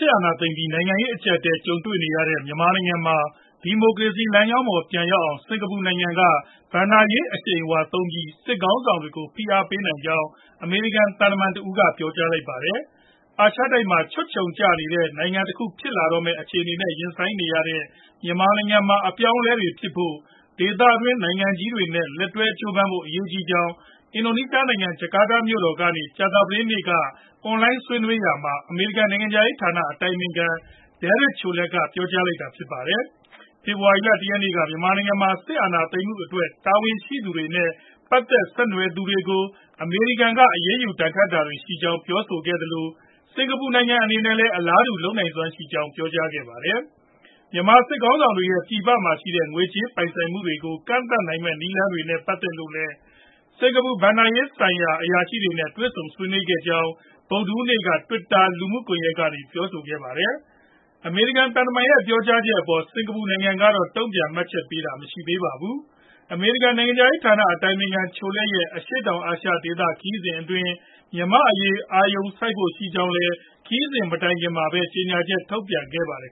စ်အာဏာသိမ်းပြီး နိုင်ငံရေး အကျပ်အတည်း ကြုံနေရတဲ့ မြန်မာနိုင်ငံမှာ ဒီမိုကရေစီလမ်းကြောင်းပေါ် ပြန်ရောက်လာအောင် စင်္ကာပူနိုင်ငံက ဘဏ္ဍာရေးအရှိန်အဝါသုံးပြီး စစ်ခေါင်းဆောင်တွေကို ဖိအားပေးနိုင်ကြောင်း အမေရိကန်သံတမန် တယောက်က ပြောလိုက်ပါတယ်။ အာရှတိုက်မှာ ခြွတ်ခြုံကျတဲ့ နိုင်ငံတခု ဖြစ်လာမယ့် အခြေအနေနဲ့ ရင်ဆိုင်နေရတဲ့ မြန်မာနိုင်ငံမှာ အပြောင်းအလဲတွေဖြစ်ဖို့ ဒေသတွင်းနိုင်ငံတွေနဲ့ လက်တွဲကြိုးပမ်းဖို့ အရေးကြီးကြောင်း အင်ဒိုနီးရှားနိုင်ငံ ဂျကာတာမြို့တော်ကနေ ကြာသပတေးနေ့က အွန်လိုင်းဆွေးနွေးရာမှာ အမေရိကန်နိုင်ငံခြားရေးဌာန အတိုင်ပင်ခံ Derek Chollet ကပြောဆိုလိုက်တာပါ။ ဖေဖော်ဝါရီလ ၁ ရက်နေ့က မြန်မာနိုင်ငံမှာ စစ်အာဏာသိမ်းမှုအတွက် တာဝန်ရှိသူတွေနဲ့ ပတ်သက် ဆက်နွယ်နေသူတွေကို အမေရိကန်က အရေးယူဒဏ်ခတ်တာတွေ ရှိနေကြောင်း ပြောဆိုခဲ့သလို၊ စင်္ကာပူ နိုင်ငံအနေနဲ့လည်း အလားတူ လုပ်နိုင်စွမ်း ရှိကြောင်း ပြောဆိုခဲ့ပါတယ်။ မြန်မာစစ်ခေါင်းဆောင်တွေရဲ့ ပြည်ပမှာ ရှိနေတဲ့ ငွေကြေးပိုင်ဆိုင်မှုတွေကို ကန့်သတ်နိုင်မယ့် နည်းလမ်းတွေနဲ့ ပတ်သက်လို့လည်း စင်္ကာပူဘဏ္ဍာရေးဆိုင်ရာ အရာရှိတွေနဲ့ဆွေးနွေးခဲ့ကြောင်း ဗုဒ္ဓဟူးနေ့က Twitter လူမှုကွန်ရက်ကနေ ပြောဆိုခဲ့တာပါ။ အမေရိကန် သံတမန်ရဲ့ ပြောကြားချက်အပေါ် စင်္ကာပူနိုင်ငံကတော့ တုံ့ပြန်မှတ်ချက်ပေးတာ မရှိသေးပါဘူး။ အမေရိကန် နိုင်ငံခြားရေးဌာန အတိုင်ပင်ခံ Chollet ရဲ့ အရှေ့တောင်အာရှဒေသ ခရီးစဉ်အတွင်း မြန်မာ့အရေး အာရုံစိုက်ဖို့ ရှိကြောင်းလည်း ခရီးစဉ်မတိုင်ခင်မှာပဲ ကြေညာချက် ထုတ်ပြန်ထားပါတယ်